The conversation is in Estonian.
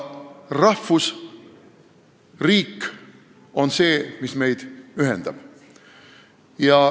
Rahvusriik on see, mis meid ühendab.